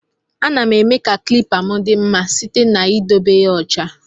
Ana m eme ka klipa m di mma site na edebe ya ọcha.